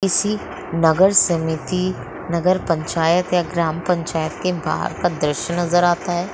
किसी नगर समिति नगर पंचायत या ग्राम पंचायत के बाहर का द्रश्य नजर आता है।